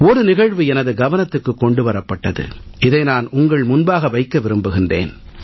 ஒரு நிகழ்வு எனது கவனத்துக்கு கொண்டு வரப்பட்டது இதை நான் உங்கள் முன்பாக வைக்க விரும்புகிறேன்